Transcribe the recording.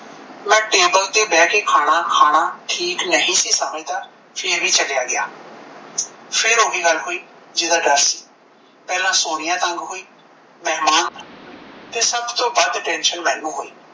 ਮੈਂ ਟੇਬਲ ਤੇ ਬਹਿ ਕੇ ਖਾਣਾ ਖਾਣਾ ਠੀਕ ਨਹੀਂ ਸੀ ਸਮਝਦਾ ਫੇਰ ਵੀ ਚਲਿਆ ਗਿਆ ਫੇਰ ਓਹੀ ਗੱਲ ਹੋਈ ਪਹਿਲਾਂ ਸੋਨੀਆ ਤੰਗ ਹੋਈ ਮਹਿਮਾਨ ਤੰਗ ਤੇ ਸਭ ਤੋਂ ਵੱਧ tension ਮੈਨੂੰ ਹੋਈ